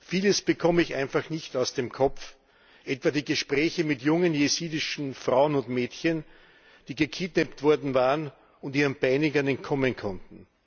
Vieles bekomme ich einfach nicht aus dem Kopf, etwa die Gespräche mit jungen jesidischen Frauen und Mädchen, die gekidnappt worden waren und ihren Peinigern entkommen konnten.